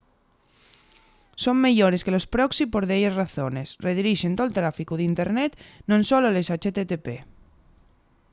son meyores que los proxy por delles razones: redirixen tol tráficu d’internet non solo les http